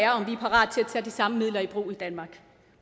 at tage de samme midler i brug i danmark